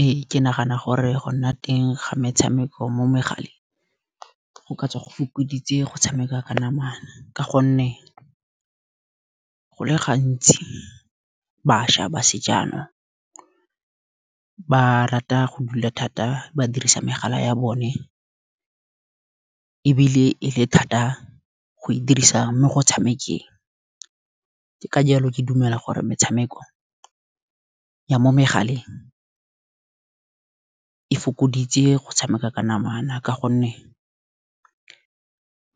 Ee ke nagana gore go nna teng ga metshameko mo megaleng go ka tswa go fokoditse go tshameka ka namana. Ka gonne go le gantsi bašwa ba sejanong, ba rata go dula thata ba dirisa megala ya bone. Ebile e le thata go e dirisa mo go tshamekeng, ka jalo ke dumela gore metshameko ya mo megaleng, e fokoditse go tshameka ka namana. Ka gonne